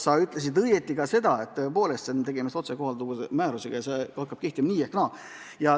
Sa viitasid õigesti, et tegemist otsekohalduva määrusega ja see hakkab kehtima nii või naa.